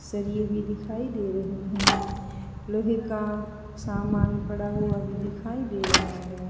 सरिया भी दिखाई दे रहे हैं लोहे का सामान पड़ा हुआ भी दिखाई दे रहा है।